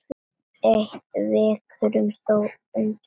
Eitt vekur þó undrun.